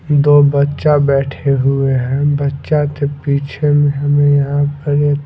दो बच्चा बैठे हुए हैं बच्चा के पीछे में हमें यहां पर एक--